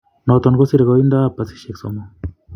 Noton kosire koindoab basisiek somok.